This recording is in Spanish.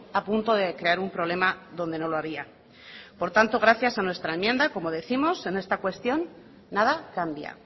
a punto de crear un problema donde no lo había por tanto gracias a nuestra enmienda como décimos en esta cuestión nada cambia